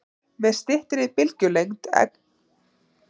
Með styttri bylgjulengd eykst tíðnin og þar með orkan.